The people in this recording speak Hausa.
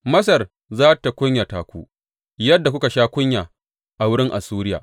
Masar za tă kunyata ku yadda kuka sha kunya a wurin Assuriya.